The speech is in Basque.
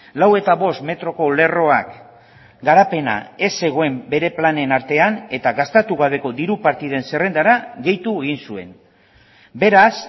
lau eta bost metroko lerroak garapena ez zegoen bere planen artean eta gastatu gabeko diru partiden zerrendara gehitu egin zuen beraz